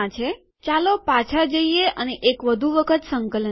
ચાલો પાછા જઈએ અને એક વધુ વખત સંકલન કરીએ